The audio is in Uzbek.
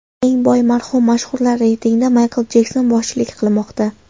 Eng boy marhum mashhurlar reytingida Maykl Jekson boshchilik qilmoqda.